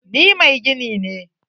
Ni mai gini ne.